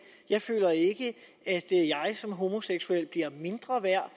jeg føler ikke at jeg som homoseksuel bliver mindre værd